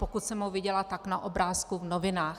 Pokud jsem ho viděla, tak na obrázku v novinách.